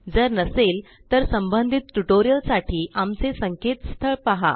जर नसेल तर संबंधितटयूटोरिअलसाठी आमचे संकेतस्थळhttpspoken tutorialorgपहा